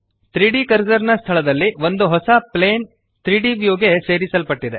3ದ್ ಕರ್ಸರ್ ನ ಸ್ಥಳದಲ್ಲಿ ಒಂದು ಹೊಸ ಪ್ಲೇನ್ 3ದ್ ವ್ಯೂ ಗೆ ಸೇರಿಸಲ್ಪಟ್ಟಿದೆ